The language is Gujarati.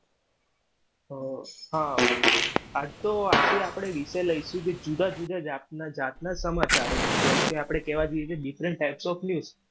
અમ હા તો આજે આપણે વિષય લઈશું કે જુદા જુદા જાતના જાતના સમાચારો જેમ કે આપણે કેવા જઇયે તો different types of news